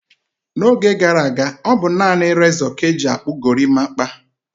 N'oge gara aga, ọ bụ naanị rezọ ka e ji akpụ gorimapa.